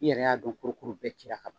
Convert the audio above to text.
I yɛrɛ y'a don kurukuru bɛɛ ci la ka ban